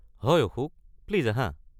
হয় অশোক, প্লিজ আহা।